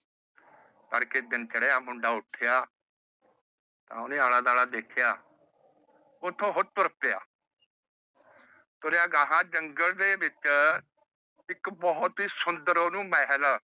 ਤੜਕੇ ਦਿਨ ਚੜ੍ਹਿਆ ਮੁੰਡਾ ਉੱਠਿਆ। ਤਾ ਓਹਨੇ ਆਲਾ ਦੁਆਲਾ ਦੇਖਿਆ ਉੱਥੋਂ ਉਹ ਤੁਰ ਪਿਆ। ਤੁਰਿਆ ਗਾਂਹ ਜੰਗ਼ਲ ਦੇ ਵਿੱਚ ਇੱਕ ਬਹੁਤ ਹੀ ਸੁੰਦਰ ਓਹਨੂੰ ਮਹਿਲ